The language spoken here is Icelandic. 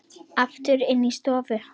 Aftur inn í stofu.